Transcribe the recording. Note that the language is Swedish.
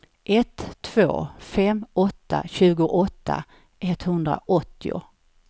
ett två fem åtta tjugoåtta etthundraåttio